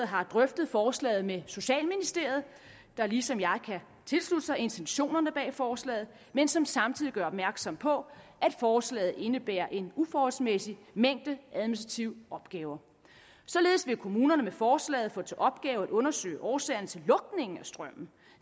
har drøftet forslaget med socialministeriet der ligesom jeg kan tilslutte sig intentionerne bag forslaget men som samtidig gør opmærksom på at forslaget indebærer en uforholdsmæssig mængde administrative opgaver således vil kommunerne med forslaget få til opgave at undersøge årsagerne til lukningen af strømmen